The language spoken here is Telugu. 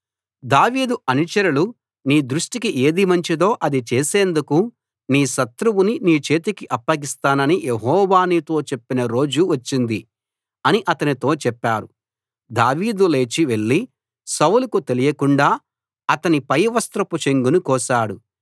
దావీదు అనుచరులు నీ దృష్టికి ఏది మంచిదో అది చేసేందుకు నీ శత్రువుని నీ చేతికి అప్పగిస్తానని యెహోవా నీతో చెప్పిన రోజు వచ్చింది అని అతనితో చెప్పారు దావీదు లేచి వెళ్ళి సౌలుకు తెలియకుండా అతని పైవస్త్రపు చెంగును కోశాడు